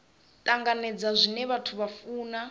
tanganedza zwine vhathu vha funa